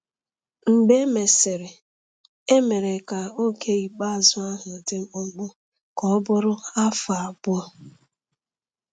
Mgbe e mesịrị, e mere ka oge ikpeazụ ahụ dị mkpụmkpụ ka ọ bụrụ afọ abụọ.